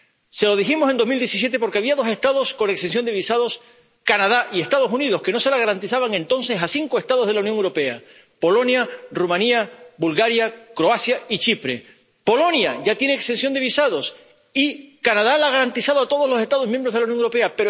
Se lo dijimos en 2017 porque había dos Estados con exención de visados, Canadá y los Estados Unidos, que no se la garantizaban entonces a cinco Estados de la Unión Europea Polonia, Rumanía, Bulgaria, Croacia y Chipre. Polonia ya tiene exención de visados y Canadá la ha garantizado a todos los Estados miembros de la Unión Europea.